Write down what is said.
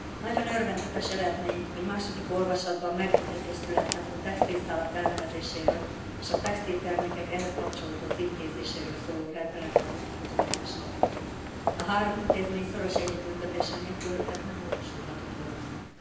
Nagyon örvendetes eredmény, hogy második olvasatban megegyezés született a textilszálak elnevezéséről és a textiltermékek ehhez kapcsolódó címkézéséről szóló rendeletre vonatkozó javaslatról. A három intézmény szoros együttműködése nélkül ez nem valósulhatott volna meg.